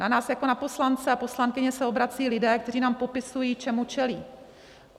Na nás jako na poslance a poslankyně se obracejí lidé, kteří nám popisují, čemu čelí.